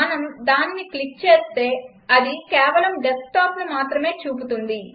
మనం దానిని క్లిక్ చేస్తే అది కేవలం డెస్క్టాప్ను మాత్రమే చూపుతుంది